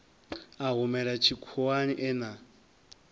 a humela tshikhuwani e na